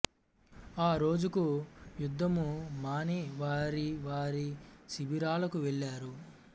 ఆ రోజుకు యుద్ధము మాని వారి వారి శిబిరాలకు వెళ్ళారు